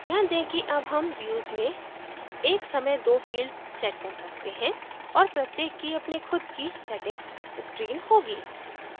ध्यान दें कि अब हम views में एक समय 2 fields set कर सकते हैं और प्रत्येक की अपनी खुद की settings screen होगी